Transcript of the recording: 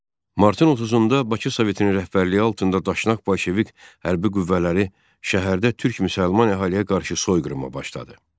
Martın 30-da Bakı Sovetinin rəhbərliyi altında Daşnak Bolşevik hərbi qüvvələri şəhərdə türk müsəlman əhaliyə qarşı soyqırıma başladı.